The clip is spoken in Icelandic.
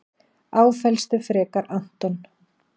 Áfellstu frekar Anton.